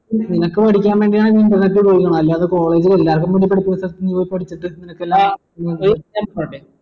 നിങ്ങൾക്ക് പഠിക്കാൻ വേണ്ടിയാണ് അല്ലാതെ college എല്ലാർക്കും വേണ്ടി പഠിപ്പിക്കുന്ന സ്ഥലത്തു നീ പോയ് പഠിച്ചിട്ട്